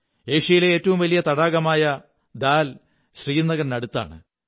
ഏഷ്യയിലെ ഏറ്റവും വലിയ തടാകമായ ഝീൽ ശ്രീനഗറിനടുത്താണ്